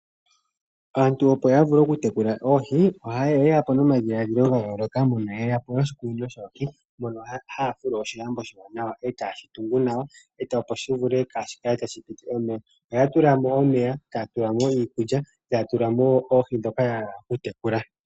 Aantu opo ya vule oku tekula oohi ohayeya po nomadhilaadhilo ga yooloka mono yeya po noshikunino shoohi mono haya fulu oshilambo oshiwanawa e tayeshi tungu nawa opo shi wape kashi kale tashi piti omeya, ohaya tulamo omeya, taya tulamo iikulya, taya tulamo wo oohi dhoka ya hala oku tekula.